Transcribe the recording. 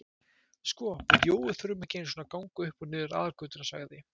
Sko við Jói þurfum ekki nema að ganga upp og niður aðalgötuna sagði